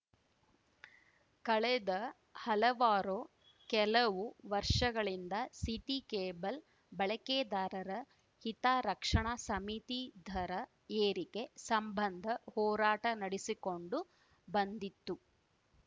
ಕಳೆದ ಹಲವಾರು ಕೆಲವು ವರ್ಷಗಳಿಂದ ಸಿಟಿ ಕೇಬಲ್‌ ಬಳಕೆದಾರರ ಹಿತರಕ್ಷಣಾ ಸಮಿತಿ ದರ ಏರಿಕೆ ಸಂಬಂಧ ಹೋರಾಟ ನಡೆಸಿಕೊಂಡು ಬಂದಿತ್ತು